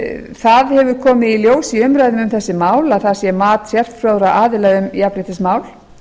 það hefur komið í ljós í umræðum um þessi mál að það sé mat sérfróðra aðila um jafnréttismál